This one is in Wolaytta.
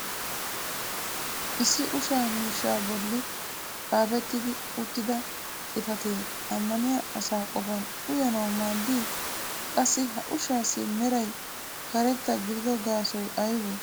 issi ushsha miishshaa boli xaafetti uttida xifatee amanniya asaa qofan uyanawu maaddii? qaassi ha ushshaassi meray karetta gididdo gaassoy aybee?